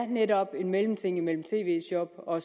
det netop er en mellemting mellem tv shop og